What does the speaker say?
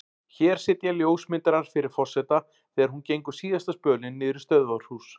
Hér sitja ljósmyndarar fyrir forseta þegar hún gengur síðasta spölinn niður í stöðvarhús.